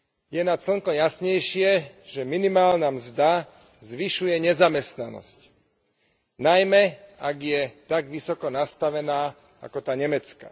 Je nad slnko jasnejšie, že minimálna mzda zvyšuje nezamestnanosť, najmä ak je tak vysoko nastavená ako tá nemecká.